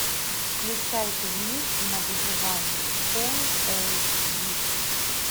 включай турнир на выживание фул эйч ди